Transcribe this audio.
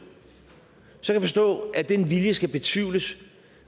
så kan jeg forstå at den vilje skal betvivles